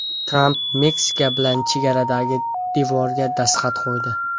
Tramp Meksika bilan chegaradagi devorga dastxat qo‘ydi.